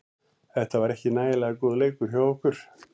Þetta var ekki nægilega góður leikur hjá okkur.